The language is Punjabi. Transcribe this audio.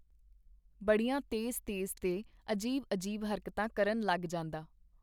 ਬੜੀਆਂ ਤੇਜ਼-ਤੇਜ਼ ਤੇ ਅਜੀਬ-ਅਜੀਬ ਹਰਕਤਾਂ ਕਰਨ ਲੱਗ ਜਾਂਦਾ.